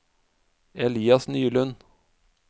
Elias Nylund